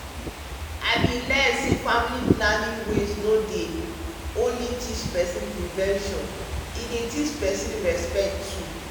i bin learn say family planning ways no dey dey only teach peson prevention e dey teach peson respect too.